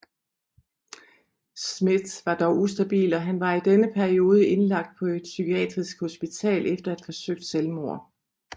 Smith var dog ustabil og han var i denne periode indlagt på et psykiatrisk hospital efter at have forsøgt selvmord